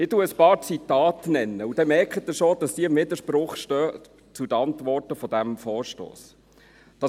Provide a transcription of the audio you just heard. Ich nenne einige Zitate, dann merken Sie, dass diese im Widerspruch zu den Antworten zu diesem Vorstoss stehen: